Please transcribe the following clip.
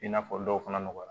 I n'a fɔ dɔw fana nɔgɔra